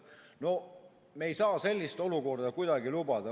No me ei saa sellist olukorda kuidagi lubada.